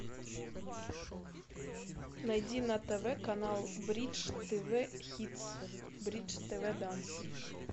найди на тв канал бридж тв хитс бридж тв данс